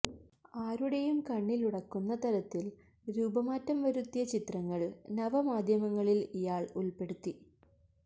ആരുടെയും കണ്ണിലുടക്കുന്ന തരത്തില് രൂപമാറ്റം വരുത്തിയ ചിത്രങ്ങള് നവമാധ്യമങ്ങളില് ഇയാള് ഉള്പ്പെടുത്തി